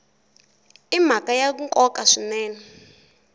i mhaka ya nkoka swinene